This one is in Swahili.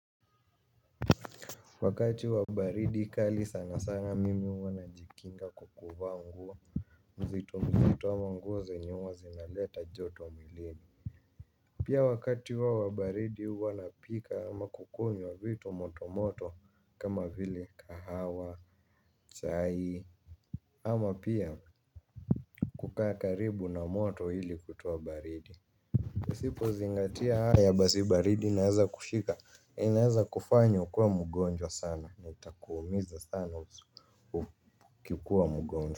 Wakati wa baridi kali sana sana mimi huwa najikinga kwa kuvaa nguo mzito mzito ama nguo zenye huwa zinaleta joto mwilini. Pia wakati wa baridi huwa napika ama kukunywa vitu moto moto kama vile kahawa, chai ama pia kukaa karibu na moto hili kutoa baridi. Usipozingatia haya basi baridi inaweza kukushika inaweza kufanya ukuwe mgonjwa sana ni utakuumiza sana ukikuwa mgonjwa.